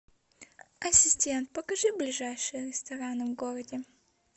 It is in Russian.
ассистент покажи ближайшие рестораны в городе